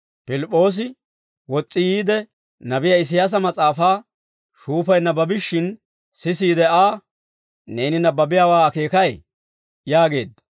Pilip'p'oosi wos's'i yiide, nabiyaa Isiyaasa mas'aafaa shuufay nabbabishshin sisiide Aa, «Neeni nabbabiyaawaa akeekay?» yaageedda.